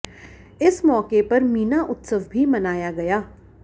इस मौके पर मीना उत्सव भी मनाया गया